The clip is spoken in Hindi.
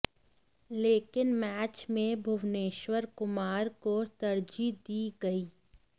लेकिन मैच में भुवनेश्वर कुमार को तरजीह दी गई